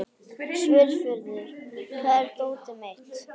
Svörfuður, hvar er dótið mitt?